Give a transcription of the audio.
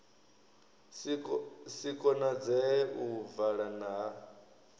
si konadzee u vala ha